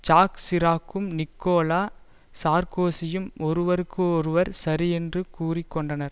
jack சிராக்கும் Nicolas சார்க்கோசியும் ஒருவருக்கு ஒருவர் சரியென்று கூறி கொண்டனர்